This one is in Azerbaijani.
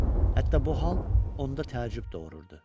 Hətta bu hal onda təəccüb doğururdu.